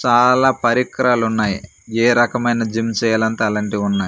చాలా పరిక్రాలున్నాయి ఏ రకమైన జిమ్ చేయాలంటే అలాంటివున్నయ్.